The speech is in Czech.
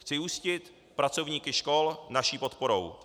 Chci ujistit pracovníky škol naší podporou.